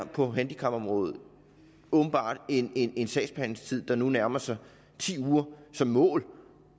på handicapområdet åbenbart en en sagsbehandlingstid der nu nærmer sig ti uger som mål